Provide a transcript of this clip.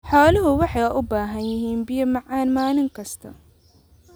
Xooluhu waxay u baahan yihiin biyo macaan maalin kasta.